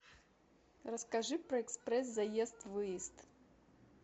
расскажи про экспресс заезд выезд